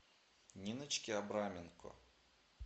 ниночке абраменко